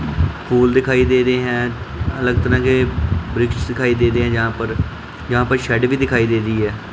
Pool दिखाई दे रहे हैं अलग तरह के वृक्ष दिखाई दे रहे है जहां पर जहां पर शेड भी दिखाई दे रही है।